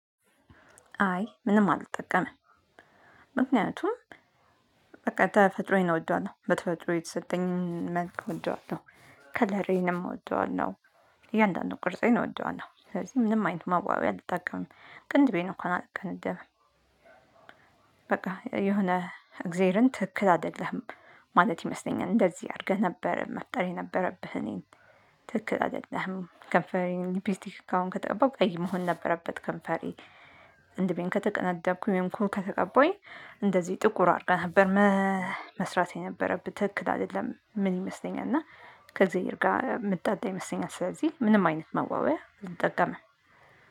አይ ምንም አልጠቀምም። ምክንያቱም በቃ ተፈጥሮዬን ነው እውነት በተፈጥሮ የተሰጠኝን መልክ እወዋለሁ። ከለሬንም እወደዋለሁ። እያንዳንዱን ቅርጼን እወዳለሁ። ምንም አይነት መዋቢያ አልጠቀምም ቅንድቤ እንኳን አልቀነደብም። በቃ የሆነ እግዜርን ትክክል አይደለህም ማለት ይመስለኛል እንደዚህ አድርገህ ነበር መፍጠር የነበረብህ እኔን። ትክክል አይደለህም ከንፈሬን ሊፒስቲክ አሁን ከተቀባሁ ቀይ መሆን ነበረበት ከንፈሬ። ቅንድቤን ከተቀነደብኩኝ ወይ ኩል ከተቀባሁኝ እንደዚህ ጥቁር አድርገህ ነበር። መስራት የነበረብህ ትክክል አይደለም ምን ይመስለኛል እና ከእግዚአብሔር ጋር ምጣላ ይመስለኛል ስለዚህ ምንም አይነት መዋቢያ አልጠቀምም።